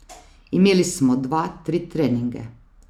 Imeli smo dva, tri treninge.